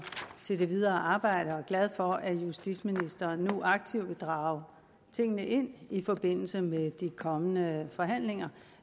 til det videre arbejde og er glade for at justitsministeren nu aktivt vil drage tingene ind i forbindelse med de kommende forhandlinger